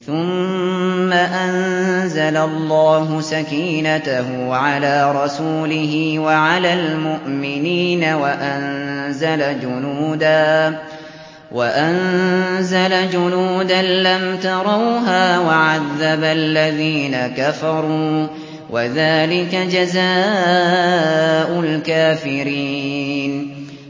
ثُمَّ أَنزَلَ اللَّهُ سَكِينَتَهُ عَلَىٰ رَسُولِهِ وَعَلَى الْمُؤْمِنِينَ وَأَنزَلَ جُنُودًا لَّمْ تَرَوْهَا وَعَذَّبَ الَّذِينَ كَفَرُوا ۚ وَذَٰلِكَ جَزَاءُ الْكَافِرِينَ